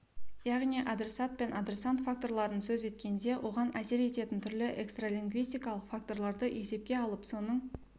яғни адресат пен адресант факторларын сөз еткенде оған әсер ететін түрлі экстралингвистикалық факторларды есепке алып соның